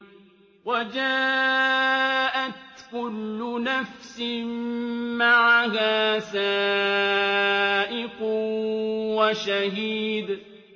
وَجَاءَتْ كُلُّ نَفْسٍ مَّعَهَا سَائِقٌ وَشَهِيدٌ